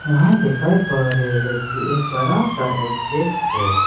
यहां देखये पर ये एक बड़ा सा एक गेट है।